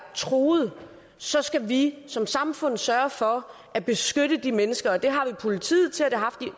truet så skal vi som samfund sørge for at beskytte de mennesker det har vi politiet til og det